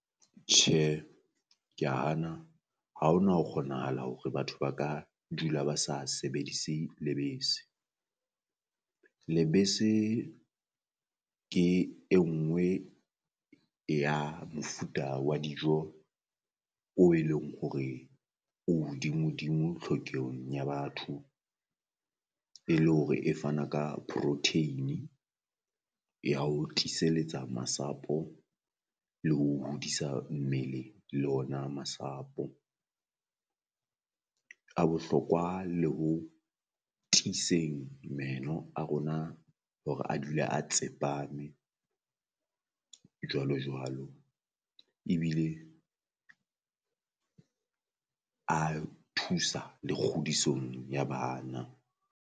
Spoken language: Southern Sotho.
Tjhe kea hana ha ho na ho kgonahala hore batho ba ka dula ba sa sebedise lebese, lebese ke e nngwe e ya mofuta wa dijo o e leng hore o hodimodimo tlhokehong ya batho. E le hore e fana ka protein ya ho tiiseletsa masapo le ho hodisa mmele le ona masapo, a bohlokwa le ho tiiseng meno a rona hore a dule a tsepame jwalo jwalo ebile a thusa le kgodisong ya bana.